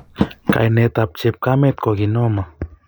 kainet ab chepkaket koki norma